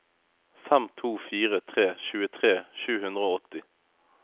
fem to fire tre tjuetre sju hundre og åtti